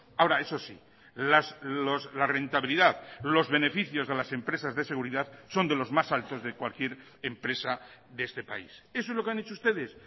ahora eso sí la rentabilidad los beneficios de las empresas de seguridad son de los más altos de cualquier empresa de este país eso es lo que han hecho ustedes